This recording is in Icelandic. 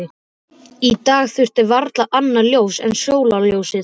Í dag þurfti það varla annað ljós en sólarljósið.